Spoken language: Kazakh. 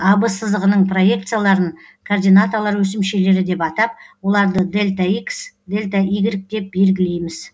ав сызығының проекцияларын координаталар өсімшелері деп атап оларды дельта икс дельта игрек и деп белгілейміз